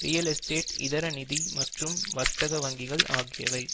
real estate இதர நிதி மற்றும் வர்த்தக வங்கிகள் ஆகியவை